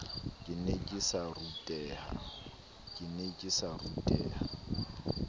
ke ne ke sa ruteha